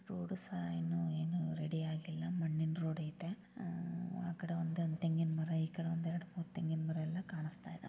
Road ಸಹ ಇನ್ನೂ ಏನು ರೆಡಿಯಾಗಿಲ್ಲ ಮಣ್ಣಿನ್ ರೋಡು ಇದೆ ಆ ಕಡೆ ಒಂದು ತೆಂಗಿನ ಮರ ಈ ಕಡೆ ಒಂದೆರಡು ಮೂರು ತೆಂಗಿನ ಮರ ಎಲ್ಲಾ ಕಾಣಸ್ತಾಯಿದೆ.